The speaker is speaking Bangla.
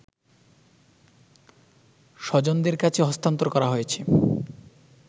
স্বজনদের কাছে হস্তান্তর করা হয়েছে